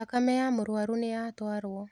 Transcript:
Thakame ya mũrwaru nĩyatwarwo.